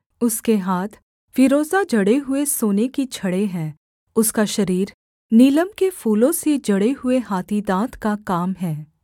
उसके हाथ फीरोजा जड़े हुए सोने की छड़ें हैं उसका शरीर नीलम के फूलों से जड़े हुए हाथी दाँत का काम है